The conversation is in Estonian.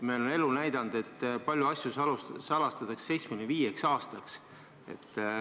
Elu on näidanud, et palju asju salastatakse 75 aastaks.